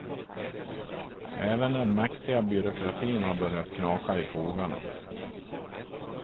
Även den mäktiga byråkratin har börjat knaka i fogarna.